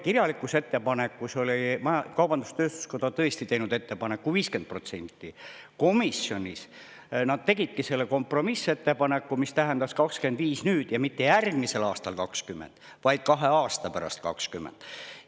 Kirjalikus ettepanekus oli kaubandus-tööstuskoda tõesti teinud ettepaneku 50%, komisjonis nad tegidki selle kompromissettepaneku, mis tähendas 25% nüüd ja mitte järgmisel aastal 20%, vaid kahe aasta pärast 20%.